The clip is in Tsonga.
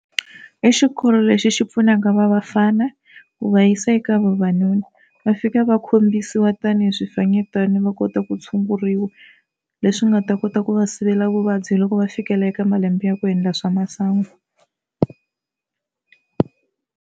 I xikolo lexi xi pfunaka va vafana ku va yisa eka vavanuna va fika va khombisiwa tanihi swifanyetana va kota ku tshunguriwa leswi nga ta kota ku va sivela vuvabyi loko va fikela eka malembe ya ku endla swa masangu.